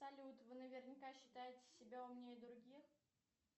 салют вы наверняка считаете себя умнее других